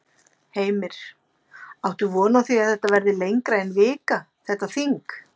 Heimir: Áttu von á því að þetta verði lengra en vika, þetta þing?